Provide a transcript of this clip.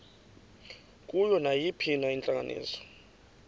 kuyo nayiphina intlanganiso